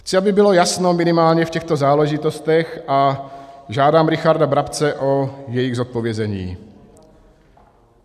Chci, aby bylo jasno minimálně v těchto záležitostech, a žádám Richarda Brabce o jejich zodpovězení: